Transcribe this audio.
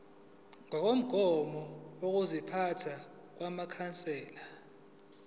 ngokomgomo wokuziphatha wamakhansela